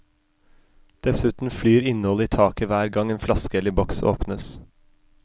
Dessuten flyr innholdet i taket hver gang en flaske eller boks åpnes.